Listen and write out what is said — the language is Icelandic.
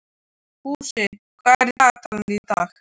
Fúsi, hvað er í dagatalinu í dag?